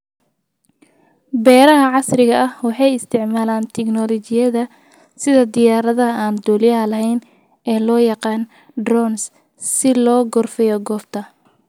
Beeraha casriga ah waxay isticmaalaan tignoolajiyada sida diyaaradaha aan duuliyaha lahayn ee loo yaqaan 'drones' si loo gorfeeyo goobta.